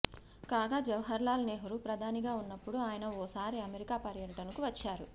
కాగా జవహర్లాల్ నెహ్రూ ప్రధానిగా ఉన్నప్పుడు ఆయన ఓసారి అమెరికా పర్యటనకు వచ్చారు